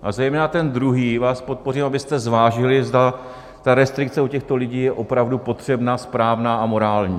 A zejména ten druhý vás poprosím, abyste zvážili, zda ta restrikce u těchto lidí je opravdu potřebná, správná a morální.